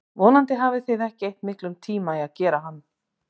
Vonandi hafið þið ekki eytt miklum tíma í að gera hann.